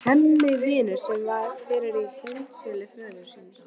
Hemmi vinnur sem fyrr í heildsölu föður síns.